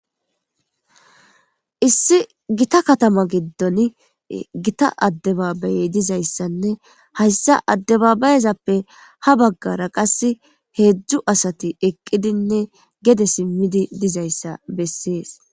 Issi gita katama giddon gita addebaabayey dizayssanne hayssa addebabayezappe ha baggara qass heedzdzu asati eqqidinne gede simmidi dizayssa bessees.